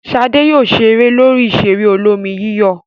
Ṣadé yóò ṣeré lórí ìṣeré olómi-yíyọ̀.